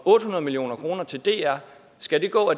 otte hundrede million kroner til dr skal gå